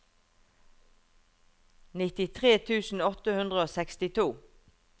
nittitre tusen åtte hundre og sekstito